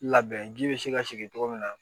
Labɛn ji be se ka sigi togo min na